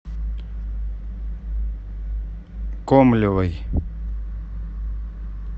комлевой